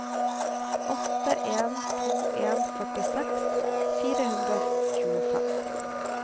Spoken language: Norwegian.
åtte en to en førtiseks fire hundre og tjuefem